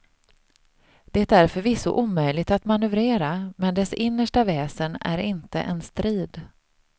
Det är förvisso omöjligt att manövrera, men dess innersta väsen är inte en strid.